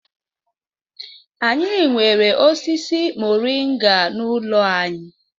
Anyị nwere osisi mọrịnga n'ụlọ anyị.